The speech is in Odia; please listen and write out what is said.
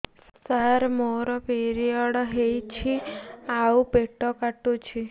ସାର ମୋର ପିରିଅଡ଼ ହେଇଚି ଆଉ ପେଟ କାଟୁଛି